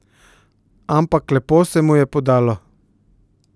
Ampak lepo se mu je podalo.